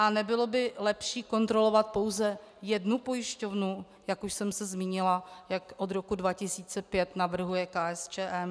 A nebylo by lepší kontrolovat pouze jednu pojišťovnu, jak už jsem se zmínila, jak od roku 2005 navrhuje KSČM?